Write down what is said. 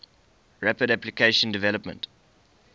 rapid application development